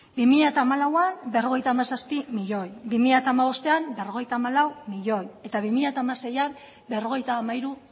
bi mila hamalauan berrogeita hamazazpi milioi bi mila hamabostean berrogeita hamalau milioi eta bi mila hamaseian berrogeita hamairu